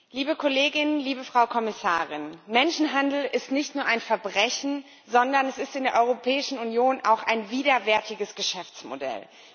Herr Präsident! Liebe Kolleginnen und Kollegen! Liebe Frau Kommissarin! Menschenhandel ist nicht nur ein Verbrechen, sondern es ist in der Europäischen Union auch ein widerwärtiges Geschäftsmodell.